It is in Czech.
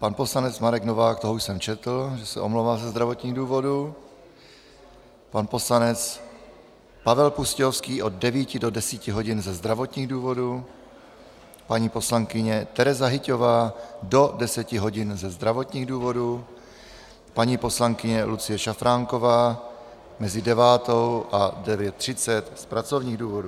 Pan poslanec Marek Novák, toho už jsem četl, že se omlouvá ze zdravotních důvodů, pan poslanec Pavel Pustějovský od 9 do 10 hodin ze zdravotních důvodů, paní poslankyně Tereza Hyťhová do 10 hodin ze zdravotních důvodů, paní poslankyně Lucie Šafránková mezi 9.00 a 9.30 z pracovních důvodů.